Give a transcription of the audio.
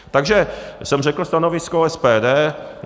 Takže jsem řekl stanovisko SPD.